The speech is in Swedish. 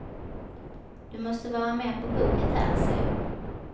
Du måste vara mer på hugget här, säger hon.